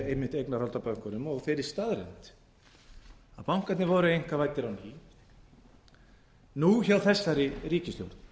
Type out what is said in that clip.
einmitt eignarhald á bönkunum og þeirri staðreynd að bankarnir voru einkavæddir á ný nú hjá þessari ríkisstjórn